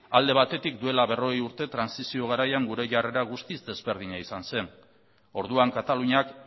alde batetik duela berrogei urte trantsizio garaian gure jarrera guztiz desberdina izan zen orduan kataluniak